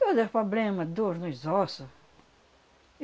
Todos os pobrema, dor nos osso.